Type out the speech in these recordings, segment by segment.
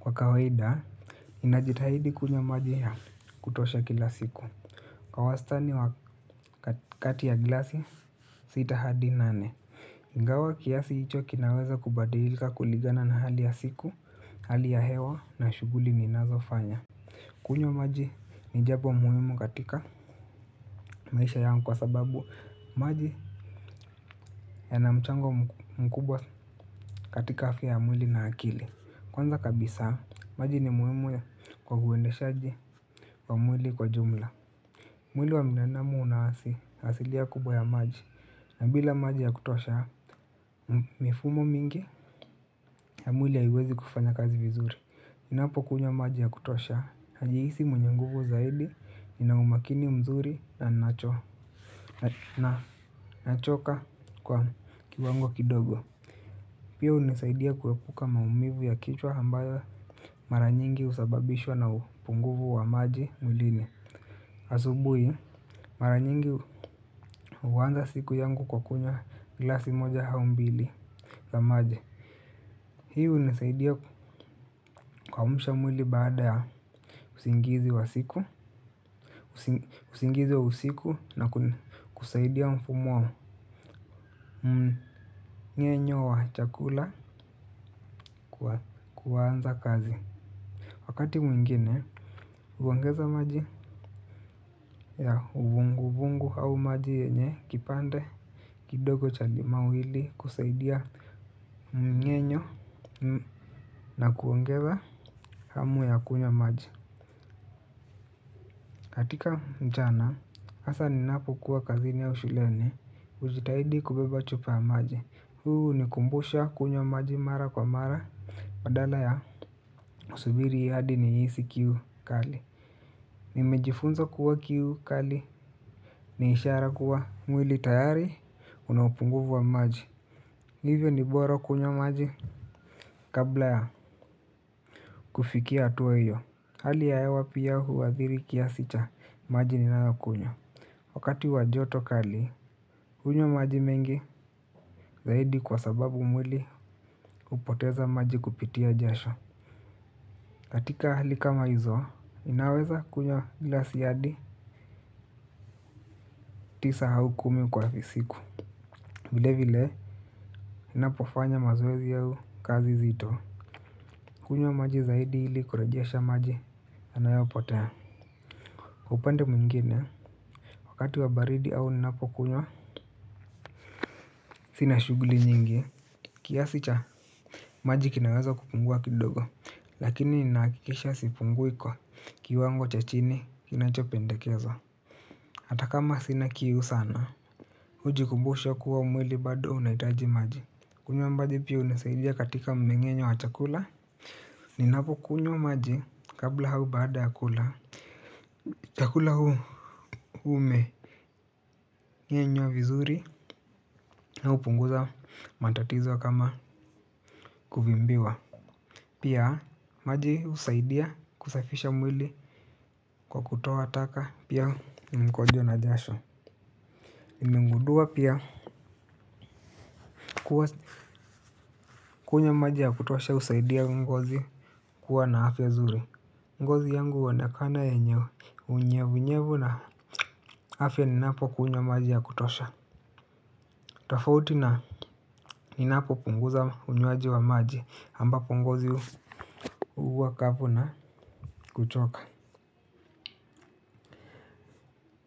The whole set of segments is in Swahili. Kwa kawaida, ninajitahidi kunywa maji ya kutosha kila siku kwa wastani wa kati ya gilasi, sita hadi nane ingawa kiasi hicho kinaweza kubadilika kulingana na hali ya siku, hali ya hewa na shughuli ni nazofanya. Kunywa maji ni jambo muhimu katika maisha yangu kwa sababu maji ya na mchango mkubwa katika afya ya mwili na akili. Kwanza kabisa, maji ni muhimu kwa huendeshaji wa mwili kwa jumla. Mwili wa binadamu una asi asilia kubwa ya maji. Na bila maji ya kutosha, mifumo mingi ya mwili haiwezi kufanya kazi vizuri. Ninapo kunywa maji ya kutosha, najihisi mwenye nguvu zaidi nina umakini mzuri na nachoka kwa kiwango kidogo. Pia hunisaidia kuepuka maumivu ya kichwa ambayo mara nyingi husababishwa na u. Punguvu wa maji mwilini. Asubui, mara nyingi huwanza siku yangu kwa kunywa gilasi moja hau mbili za maji. Hii hunisaidia kuamusha mwili baada ya usingizi wa usiku na kusaidia mfumo. Mnyenyo wa chakula kuanza kazi. Wakati mwingine, huongeza maji ya uvungu vungu au maji yenye kipande kidogo cha limau ili kusaidia mnyenywo na kuongeza hamu ya kunywa maji. Katika mchana, hasa ni napo kuwa kazini au shuleni, hujitahidi kubeba chupa ya maji. Huu hunikumbusha kunywa maji mara kwa mara. Badala ya kusubiri hadi ni hisi kiu kali. Nimejifunza kuwa kiu kali ni ishara kuwa mwili tayari unapunguvu wa maji. Hivyo ni bora kunywa maji kabla ya kufikia hatua hiyo. Hali ya hewa pia huwathiri kiasi cha maji ninayo kunywa. Wakati wajoto kali, hunywa maji mengi zaidi kwa sababu mwili hupoteza maji kupitia jasho. Katika hali kama hizo, ninaweza kunywa gilasi adi tisa hau kumi kwa siku. Vile vile ninapo fanya mazoezi au kazi zito kunywa maji zaidi ili kurejesha maji yanayopotea kwa upande mwingine. Wakati wa baridi au ninapo kunywa sina shughuli nyingi. Kiasi cha maji kina weza kupungua kidogo lakini ninakikisha sipungui kwa kiwango cha chini kinachopendekezwa. Atakama sina kiu sana. Huji kumbusha kuwa mwili bado unahitaji maji. Kunywa maji pia hunisaidia katika mmeng'enywo wa chakula. Ninapo kunywa maji kabla hau baada ya kula. Chakula huu umeng'enywa vizuri na hupunguza matatizo wa kama kuvimbiwa. Pia maji husaidia kusafisha mwili kwa kutoa taka pia mkojo na jasho. Nimengudua pia kuwa kunywa maji ya kutosha husaidia ngozi kuwa na afya zuri. Ngozi yangu huonekana yenye unyevu nyevu na afya ninapo kunywa maji ya kutosha. Tafauti na ninapo punguza unywaji wa maji ambapo ngozi huwa kavu na kuchoka.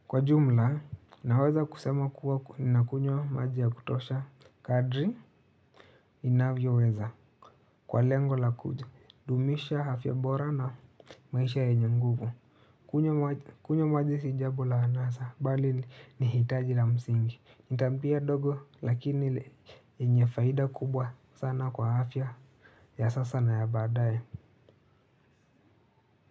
Kwa jumla naweza kusema kuwa nakunywa maji ya kutosha. Kadri ninavyo weza. Kwa lengo la kudumisha afya bora na maisha yenye nguvu. Kunywa maji si jambo la anasa bali ni hitaji la msingi nitabia ndogo lakini yenye faida kubwa sana kwa afya ya sasa na ya baadaye.